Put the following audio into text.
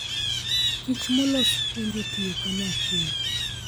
Kich molos puonjo tiyo kanyachiel.